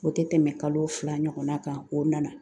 O tɛ tɛmɛ kalo fila ɲɔgɔnna kan o nana